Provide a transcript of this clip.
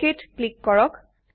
ওকেত click কৰক